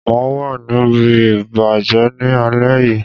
Mà á wà ní ibi àpèjẹ ní alé yìí.